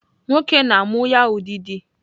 Nwoke na-amụ ya ụdịdị.